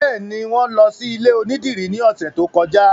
Bẹ́ẹ̀ni, wọn lọ sí ilé onídìrí ní ọ̀sẹ̀ tó kọjá